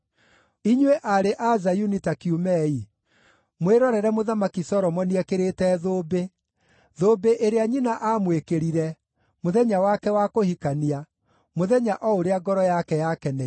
Inyuĩ aarĩ a Zayuni ta kiumei, mwĩrorere Mũthamaki Solomoni ekĩrĩte thũmbĩ, thũmbĩ ĩrĩa nyina aamwĩkĩrire mũthenya wake wa kũhikania, mũthenya o ũrĩa ngoro yake yakeneire.